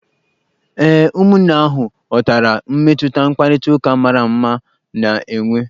Ee, ụmụnne ahụ ghọtara mmetụta mkparịtaụka mara mma na-enwe.